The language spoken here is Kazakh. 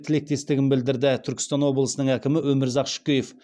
тілектестігін білдірді түркістан облысының әкімі өмірзақ шөкеев